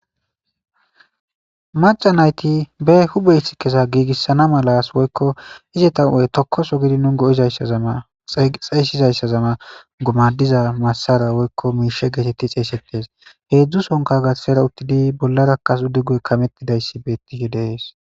Maca nayti banta hupheza gigisana mala woyko izeta huphe yoloso gidi asay gizaysa